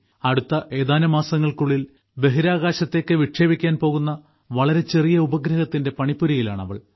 അടുത്ത ഏതാനും മാസങ്ങൾക്കുള്ളിൽ ബഹിരാകാശത്ത് വിക്ഷേപിക്കാൻ പോകുന്ന വളരെ ചെറിയ ഉപഗ്രഹത്തിന്റെ പണിപ്പുരയിലാണ് അവൾ